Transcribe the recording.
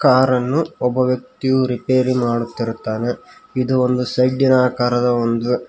ಕಾರನ್ನು ಒಬ್ಬ ವ್ಯಕ್ತಿಯು ರಿಪೇರಿ ಮಾಡುತ್ತಿರುತ್ತಾನೆ ಇದು ಒಂದು ಶೆಡ್ಡಿನ ಆಕಾರದ ಒಂದು--